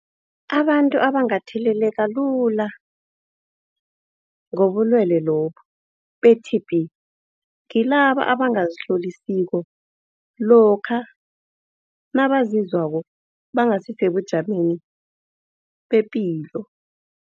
Abantu abangatheleleka lula ngobulwele lobu be-T_B, ngilaba abangazihlolisiko lokha nabazizwako bangasi sebujameni bepilo.